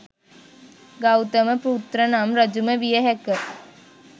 ගෞතම පුත්‍රනම් රජුම විය හැක